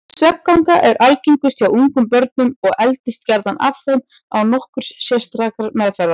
Svefnganga er algengust hjá ungum börnum og eldist gjarnan af þeim án nokkurrar sérstakrar meðferðar.